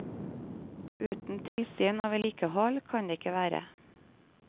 Uten tilsyn og vedlikehold kan det ikke være.